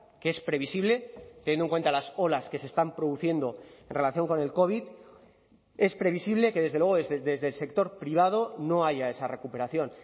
que es previsible teniendo en cuenta las olas que se están produciendo en relación con el covid es previsible que desde luego desde el sector privado no haya esa recuperación